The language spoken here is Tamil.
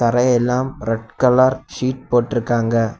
தரையெல்லாம் ரெட் கலர் ஷீட் போட்டுருக்காங்க.